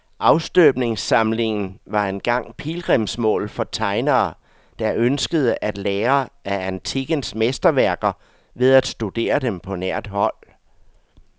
Afstøbningssamlingen var engang pilgrimsmål for tegnere, der ønskede at lære af antikkens mesterværker ved at studere dem på nært hold.